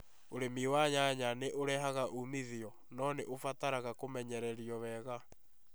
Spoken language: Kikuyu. Ũrĩmi wa nyanya nĩ ũrehaga umithio, no nĩ ũbataraga kũmenyererio wega.